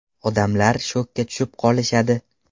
Odamlar shokka tushib qolishadi”.